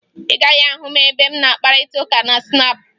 Ị gaghị ahụ m ebe m na-akpakọrịta ma Snaapụ